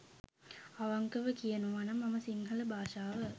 අවංකවම කියනවනම් මම සිංහල භාෂාව